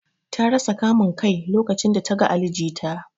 Ta rasa kamun Kai lokacin da ta gan Ali jita.